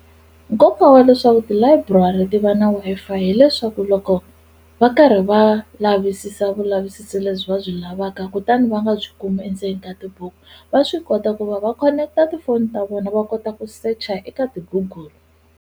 Nkoka wa leswaku tilayiburari ti va na Wi-Fi hileswaku loko va karhi va lavisisa vulavisisi lebyi va byi lavaka kutani va nga byi kumi endzeni ka tibuku va swi kota ku va va khoneketa tifoni ta vona va kota ku secha eka ti-Google.